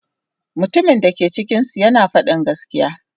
Mutumin da ke cikinsu yana faɗin gaskiya.